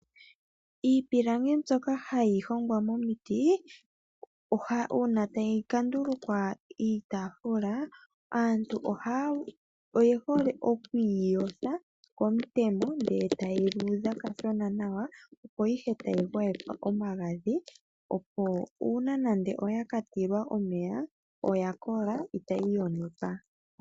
Iipilangi mbyoka hayi hongwa momiti, una tayi ka ndulukwa iitafula, aantu oye hole okuyi yotha komutemo, ndele tayi luudha kashona nawa, opo ihe tayi gwayekwa omagadhi, opo una nande oya ka tilwa omeya, oya kola itayi yonuka.